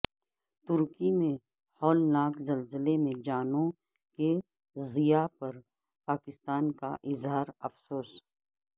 ترکی میں ہولناک زلزلے میں جانوں کے ضیاع پر پاکستان کا اظہار افسوس